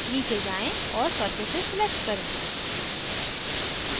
नीचे जाएँ और surfaces select करें